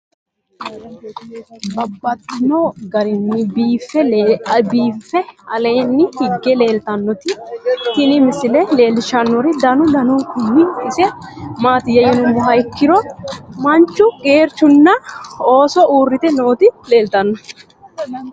Babaxxittinno garinni biiffe aleenni hige leelittannotti tinni misile lelishshanori danu danunkunni isi maattiya yinummoha ikkiro manchu geerichunna oososi uuritte nootti leelittanno